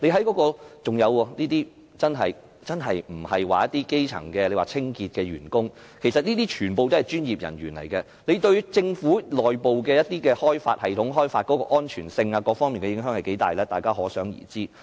況且，這些真的並非一些基層如清潔員工，其實俱是專業人員，這對政府內部的某些系統開發工作的安全性等各方面的影響有多大，大家可想而知。